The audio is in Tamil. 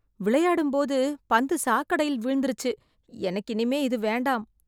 விளையாடும்போது பந்து சாக்கடையில் விழுந்துருச்சு எனக்கு இனிமே இது வேண்டாம்.